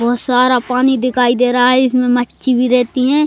बहोत सारा पानी दिखाई दे रहा है इसमें मच्छी भी रहती हैं।